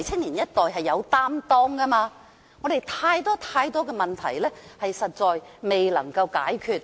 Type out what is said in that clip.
年青一代是有擔當的，而香港有太多問題尚未解決。